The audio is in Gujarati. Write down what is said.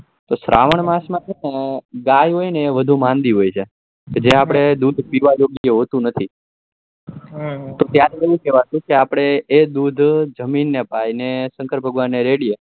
તો શ્રવણ માસ માં ગાય હોય એ વધુ માંદી હોય છે જે આપડે દૂધ પીવા જેવું હોતું નતી તો એ કેવાતું કે દૂધ જમીન ને પાય અને શંકર ભગવાન રેડીયે એ